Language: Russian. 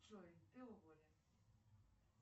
джой ты уволен